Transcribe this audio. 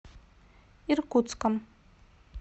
иркутском